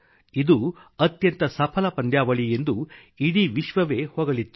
ಇದು ಅತ್ಯಂತ ಸಫಲ ಪಂದ್ಯಾವಳಿ ಎಂದು ಇಡೀ ವಿಶ್ವವೇ ಹೊಗಳಿತ್ತು